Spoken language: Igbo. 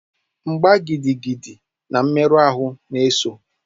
Mgba gidigidi na mmerụ ahụ na-eso.